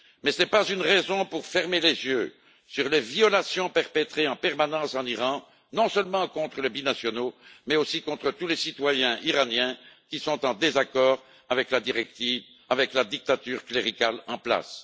Ce n'est pas une raison pour fermer les yeux sur les violations perpétrées en permanence dans ce pays, non seulement contre les binationaux, mais aussi contre tous les citoyens iraniens qui sont en désaccord avec la dictature cléricale en place.